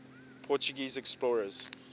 portuguese explorers